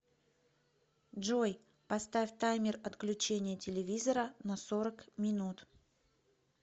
джой поставь таймер отключения телевизора на сорок минут